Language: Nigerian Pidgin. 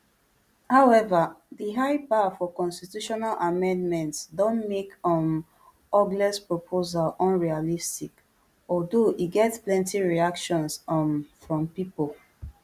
however di high bar for constitutional amendments don make um ogles proposal unrealistic although e get plenty reactions um from pipo